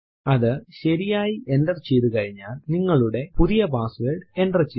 അതു ശരിയായി എന്റർ ചെയ്തു കഴിഞ്ഞാൽ നിങ്ങളുടെ പുതിയ പാസ്സ്വേർഡ് എന്റർ ചെയ്യുക